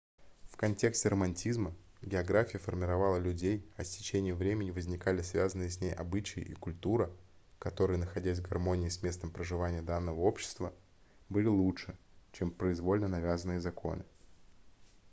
в контексте романтизма география формировала людей а с течением времени возникали связанные с ней обычаи и культура которые находясь в гармонии с местом проживания данного общества были лучше чем произвольно навязанные законы